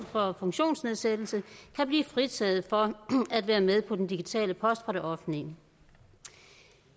for funktionsnedsættelse kan blive fritaget for at være med på den digitale post fra det offentlige